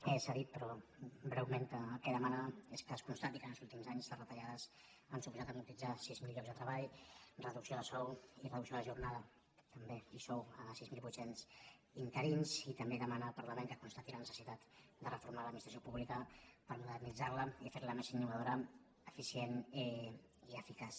s’ha dit però breument que el que demana és que es constati que en els últims anys les retallades han suposat amortitzar sis mil llocs de treball reducció de sou i reducció de jornada també i sou a sis mil vuit cents interins i també demana al parlament que constati la necessitat de reformar l’administració pú·blica per modernitzar·la i fer·la més innovadora efi·cient i eficaç